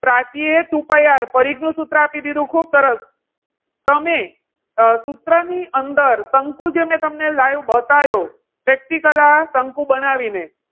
પ્રાચી એ two pie R પરિઘ નું સૂત્ર આપી દીધું. ખુબ સરસ તમે સૂત્રની અંદર શંકુ જે મેં તમને live બતાવ્યો. practical શંકુ બનાવીને.